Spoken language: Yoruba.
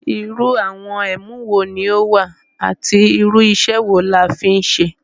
Irú àwọn ẹ̀mú wo ní ó wà àti irú iṣẹ́ wo la fi ń ṣe?